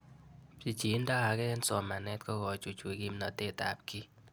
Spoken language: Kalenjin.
Pichindo ag'e eng' somanet ko kochuchuch kimnatet ab kiy